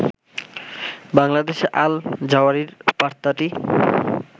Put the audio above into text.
বাংলাদেশে আল-জাওয়ারির বার্তাটি